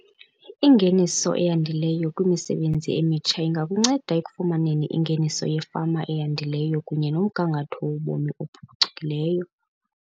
Ingeniso eyandileyo kwimisebenzi emitsha ingakunceda ekufumaneni ingeniso yefama eyandileyo kunye nomgangatho wobomi ophucukileyo.